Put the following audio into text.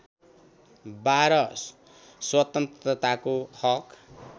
१२ स्वतन्त्रताको हक